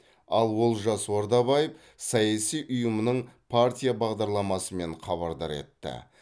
ал олжас ордабаев саяси ұйымның партия бағдарламасымен хабардар етті